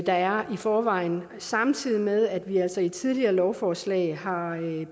der er i forvejen samtidig med at vi altså i tidligere lovforslag har